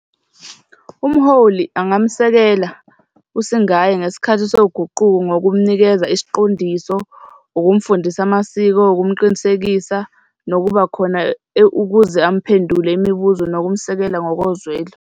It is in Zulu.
Umholi angamsekela usingaye ngesikhathi soguquko ngokumnikeza isiqondiso, ukumfundisa amasiko, ukumqinisekisa nokuba khona ukuze amphendule imibuzo nokumsekela ngokozwelo.